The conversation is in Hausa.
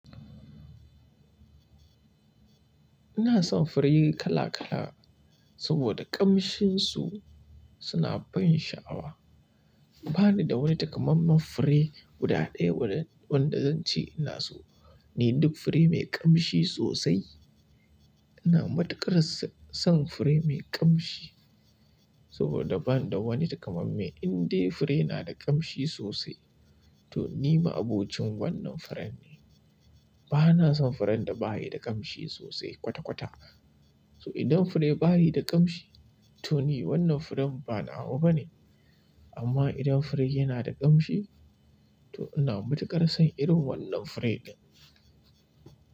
Ina son fure kala kala saboda kamshinsu suna ban sha'awa. Ba ni da wani takamammen fure guda ɗaya wanda zan ce ina so. Ni duk fure mai kamshi sosai. Ina matuƙar son fure mai kamshi saboda bani da wani taka mamme indai fure na da kamshi sosai to ni maaboci wannan furen ne bana son furen da ba yi da kamshi sosai kwata kwata. So idan fure ba yi da kamshi, to ni wannan furen banawa bane. Amma idan furen yana da kmashi to ina matukar son irin wannan furen din.